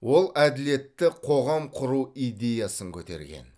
ол әділетті қоғам құру идеясын көтерген